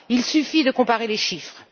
Il suffit de comparer les chiffres.